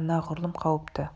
анағұрлым қауіпті